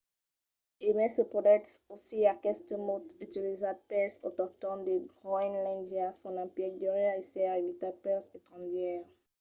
e mai se podètz ausir aqueste mot utilizat pels autoctòns de groenlàndia son emplec deuriá èsser evitat pels estrangièrs